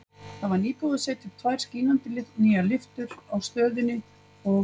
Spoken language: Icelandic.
Það var nýbúið að setja upp tvær skínandi nýjar lyftur á stöðinni og